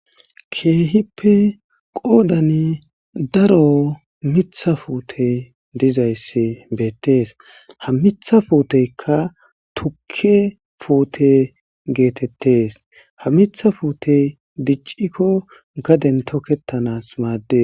keehippe qoodani daro mitha puute dizayssi beettees ha mitha puuteykka tukke puute geetettes ha mitha fuute diccikko gaden toketanas maaddes